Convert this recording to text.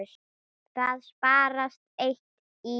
Það sparast eitt í.